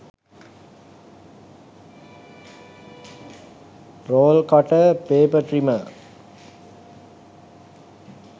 roll cutter paper trimmer